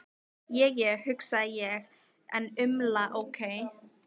Je je, hugsa ég en umla ókei.